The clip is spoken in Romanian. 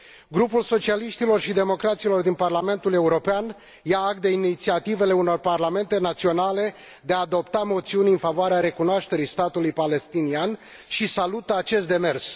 Grupul Socialiștilor și Democraților din Parlamentul European ia act de inițiativele unor parlamente naționale de a adopta moțiuni în favoarea recunoașterii statului palestinian și salută acest demers.